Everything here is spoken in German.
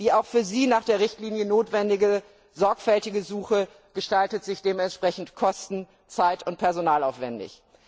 Die auch für sie nach der Richtlinie notwendige sorgfältige Suche gestaltet sich dementsprechend kosten zeit und personalaufwändig.